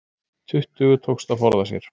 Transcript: Tuttugu tókst að forða sér